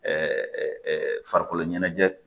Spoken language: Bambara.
Ɛɛ ɛ ɛ farikoloɲɛnɛjɛ